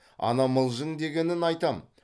ана мылжың дегенін айтам